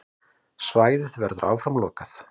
Svæðið verður áfram lokað.